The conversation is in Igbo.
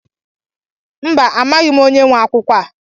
Mba, amaghị m onye nwe akwụkwọ a.